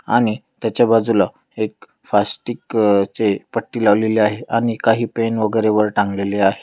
आणि त्याच्या बाजुला एक फास्टिक अ चे एक पट्टी लावलेली आहे आणि काही पेन वगैरे वर टांगलेले आहे.